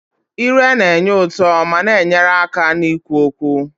Ire na-enye ụtọ ma na-enyere aka n'ikwu okwu.